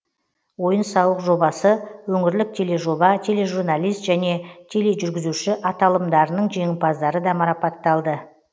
ойын сауық жобасы өңірлік тележоба тележурналист және тележүргізуші аталымдарының жеңімпаздары да марапатталды